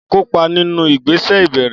Kópa nínú ìgbésẹ̀ ìbẹ̀rẹ̀.